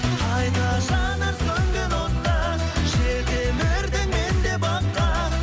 қайта жанар сөнген от та жетелердім мен де баққа